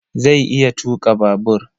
Zai iya tuƙa babur.